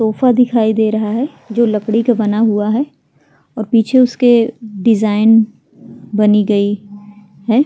Sofa दिखाई दे रहा है जो लकड़ी का बना हुआ है और पीछे उसके डिजाइन बनी गई है ।